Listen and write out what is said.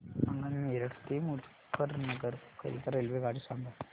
मला मेरठ ते मुजफ्फरनगर करीता रेल्वेगाडी सांगा